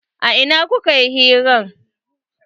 A ina kuka yi hiran?